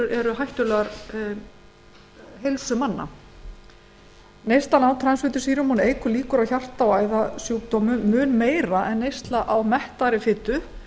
eru heilsu manna neysla á transfitusýrum eykur líkur á hjarta og æðasjúkdómum mun meira en neysla á mettaðri fitu